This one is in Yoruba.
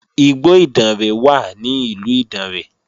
Igbó Ìdànrè wà ní ìlú Ìdànrè